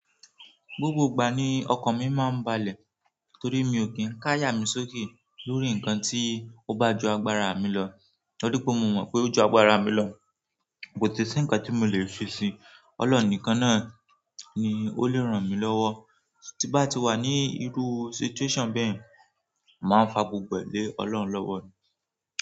Gbogbo ìgbà ni ọkàn mi máa ń balẹ̀ torí mi ò kí ń ká yà mí sókè lórí nǹkan tí ó bá ju agbára mi lọ. Torí pé mo mọ̀ pé ó ju agbára mi lọ, kò sì si nǹkan tí mo lè ṣe sí i. Ọlọ́run nìkan náà ni ó lè ràn mí lọ́wọ́. Tí bá ti wà ní irú situation bẹ́ẹ̀, màá fà gbogbo ẹ lẹ́ Ọlọ́run lọ́wọ́.